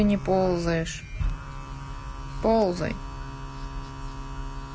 ползаешь ползай